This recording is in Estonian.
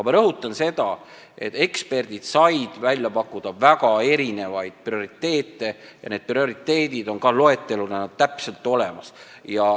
Ma rõhutan seda, et eksperdid said välja pakkuda väga erinevaid prioriteete ja need prioriteedid on ka loeteluna olemas.